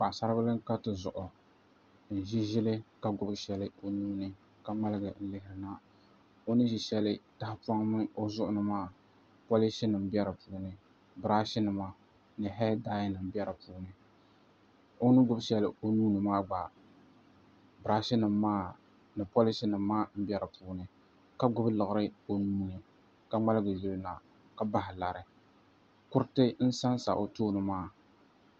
Paɣasaribili n ka tizuɣu n ʒi ʒili ka gbubi shɛli o nuuni ka ŋmaligi lihiri na o ni ʒi shɛli o zuɣu ni maa polish nim bɛ dinni birash nima ni hee dai nim bɛ di puuni o ni gbubi shɛli o nuuni maa gba birash nim maa ni polish nim maa n bɛ di puuni ka gbubi liɣiri o nuuni ka ŋmaligi yulina ka bahi lari kuriti n sansa o tooni maa